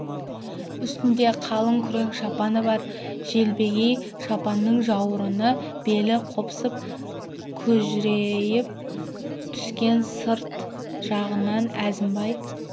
үстінде қалың күрең шапаны бар желбегей шапанның жауырыны белі қопсып күжірейе түскен сырт жағынан әзімбай